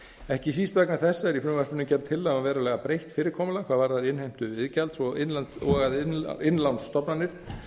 ekki síst vegna þessa er í frumvarpinu gerð tillaga um verulega breytt fyrirkomulag hvað varðar innheimtu iðgjalds og að innlánsstofnanir